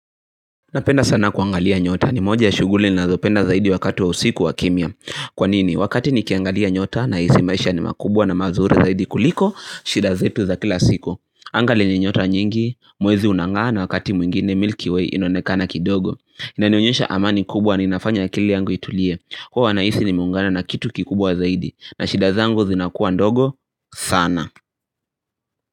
Napenda sana kuangalia nyota. Ni moja ya shughuli ninazopenda zaidi wakati wa usiku wa kimya. Kwa nini, wakati nikiangalia nyota nahisi maisha ni makubwa na mazuri zaidi kuliko shida zetu za kila siku. Anga lenye nyota nyingi, mwezi unang'aa na wakati mwingine Milky Way inaonekana kidogo. Inanionyesha amani kubwa ni inafanya akili yangu itulie. Huwa nahisi nimeungana na kitu kikubwa zaidi na shida zangu zinakuwa ndogo sana.